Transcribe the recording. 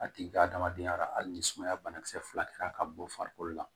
A tigi ka adamadenya la hali ni sumaya banakisɛ fila kɛra ka bɔ farikolo la